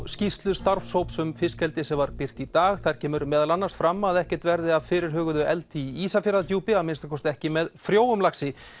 skýrslu starfshóps um fiskeldi sem var birt í dag þar kemur meðal annars fram að ekkert verði af fyrirhuguðu eldi í Ísafjarðardjúpi að minnsta kosti ekki með frjóum laxi